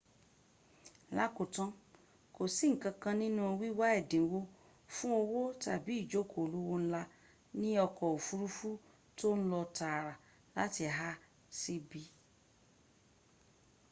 lákòótán kòsí ǹkankan nínu wíwá ẹ̀dínwó fún òwò tàbí ìjókòó olówó ńlá ní ọkọ̀ òfurufù tó ń lọ tààrà láti a sí b